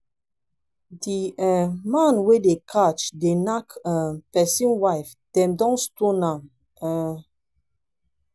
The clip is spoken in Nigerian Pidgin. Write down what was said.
the um man wey dem catch dey knack um person wife dem don stone am um